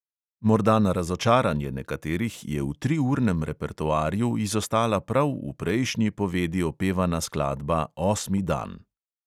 Morda na razočaranje nekaterih je v triurnem repertoarju izostala prav v prejšnji povedi opevana skladba osmi dan.